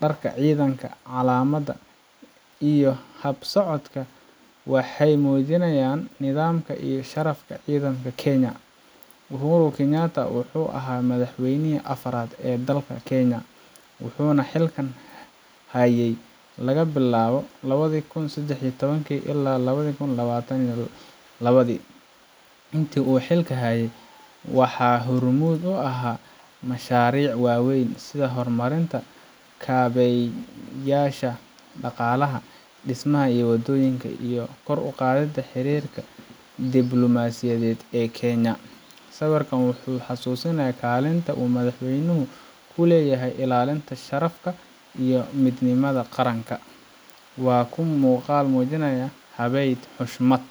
Dharka ciidanka, calamada, iyo hab socodkooda waxay muujinayaan nidaamka iyo sharafka ciidamada Kenya. Uhuru Kenyatta wuxuu ahaa madaxweynihii afaraad ee dalka Kenya, wuxuuna xilka hayay laga bilaabo lawadii kun sedax iyo toabkii ilaa lawada kun lawatan iyo lawadii. Intii uu xilka hayay, waxa uu hormuud u ahaa mashaariic waaweyn sida horumarinta kaabeyaasha dhaqaalaha, dhismaha waddooyinka, iyo kor u qaadidda xiriirka diblumaasiyadeed ee Kenya. Sawirkan wuxuu xasuusinayaa kaalinta uu madaxweynuhu ku leeyahay ilaalinta sharafka iyo midnimada qaranka. Waa muuqaal muujinaya haybad, xushmad.